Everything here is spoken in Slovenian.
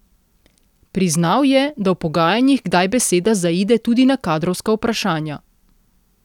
Priznal je, da v pogajanjih kdaj beseda zaide tudi na kadrovska vprašanja.